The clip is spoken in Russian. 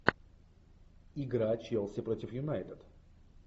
игра челси против юнайтед